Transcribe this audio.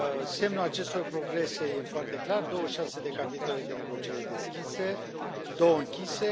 Semnul acestor progrese este foarte clar 26 de capitole de negociere deschise, 2 închise